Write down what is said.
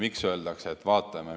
Miks öeldakse, et vaatame?